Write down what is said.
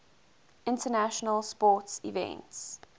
international sports events